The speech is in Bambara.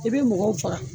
I bɛ mɔgɔw faga